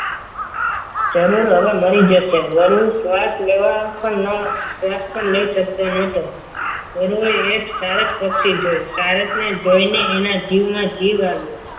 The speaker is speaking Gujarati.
જરૂર હવે મરી જશે વરું શ્વાસ લેવા પણ શ્વાસ પણ લઈ શકતો ન હતો વરુએ એક સરસ પક્ષી જોયું સારસને જોઈને એના જીવમાં જીવ આવ્યો.